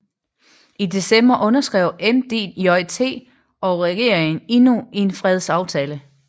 I december underskrev MDJT og regeringen endnu en fredsaftale